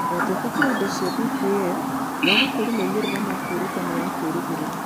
Ũhotekeku wa indo cia DPL wa gũkũria moimĩrĩro ma kwĩruta nĩ wa kĩĩrĩgĩrĩro.